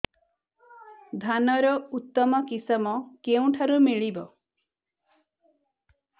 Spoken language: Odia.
ଧାନର ଉତ୍ତମ କିଶମ କେଉଁଠାରୁ ମିଳିବ